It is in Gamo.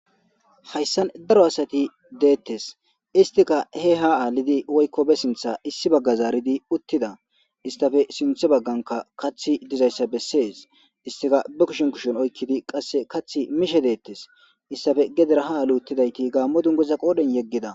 hayssan daro asati deettes istika he ha aalidi woykko be sintha issi bagga zaaridi uttida istafe sinthe bagganka kathi dizayssa bessees istika ba kushin kushon oykkidi qasse kath mishe deettes istafe gedera ha aali uttidayti gaammo dungeza qoodhen yeggida